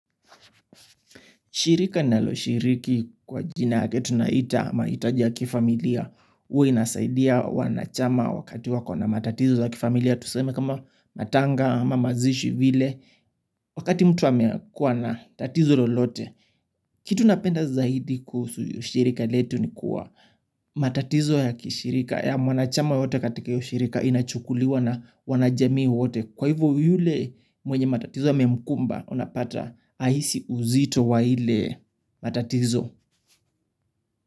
Shirika ninaloshiriki kwa jina yake tunaita mahitaji ya kifamilia huwa inasaidia wanachama wakati wako na matatizo ya kifamilia tuseme kama matanga ama mazishi vile wakati mtu wamekuwa na tatizo lolote kitu napenda zaidi kuhusu shirika letu ni kuwa matatizo yakishirika ya mwanachama yote katika hiyo shirika inachukuliwa na wanajamii wote kwa hivyo yule mwenye matatizo yamemkumba unapata hahisi uzito wa ile matatizo.